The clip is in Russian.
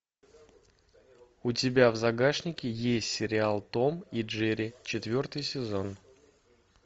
у тебя в загашнике есть сериал том и джерри четвертый сезон